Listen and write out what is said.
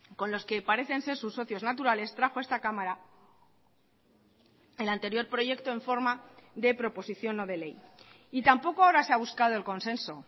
con los que parecen ser sus socios naturales trajo a esta cámara el anterior proyecto en forma de proposición no de ley y tampoco ahora se ha buscado el consenso